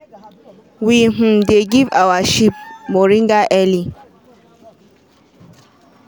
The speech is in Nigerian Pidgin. we um dey give our sheep moringa early.